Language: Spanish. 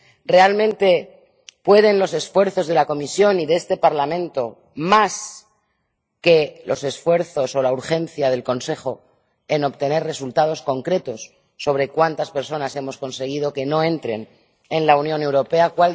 ¿Realmente pueden los esfuerzos de la Comisión y de este Parlamento más que los esfuerzos o la urgencia del Consejo en obtener resultados concretos sobre cuántas personas hemos conseguido que no entren en la Unión Europea?